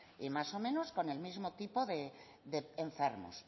y más o menos con el mismo tipo de enfermos